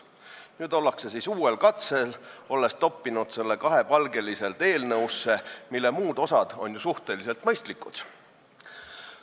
Nüüd ollakse uuel katsel: see on kahepalgeliselt topitud eelnõusse, mille muud osad on suhteliselt mõistlikud.